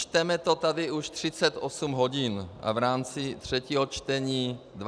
Čteme to tady už 38 hodin a v rámci třetího čtení 23 hodin.